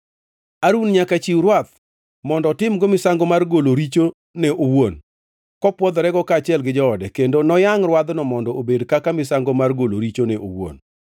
“Harun nyaka chiw rwath mondo otimgo misango mar golo richone owuon kopwodhorego kaachiel gi joode, kendo noyangʼ rwadhno mondo obed kaka misango mar golo richone owuon.